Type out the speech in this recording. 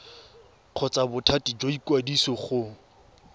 kgotsa bothati jwa ikwadiso go